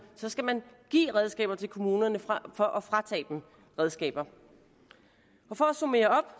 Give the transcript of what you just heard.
skal man give redskaber til kommunerne frem for at fratage dem redskaber for at summere